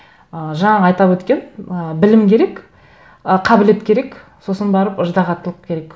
ы жаңағы атап өткен ы білім керек ы қабілет керек сосын барып ыждағаттылық керек